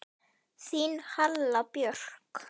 Þín Halla Björk.